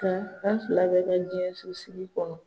Nka an fila bɛ ka jɛso sigi kɔnɔ